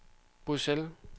Bruxelles